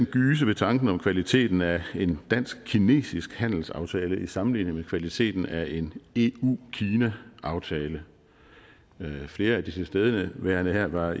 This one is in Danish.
gyse ved tanken om kvaliteten af en dansk kinesisk handelsaftale i sammenligning med kvaliteten af en eu kina aftale flere af de tilstedeværende her var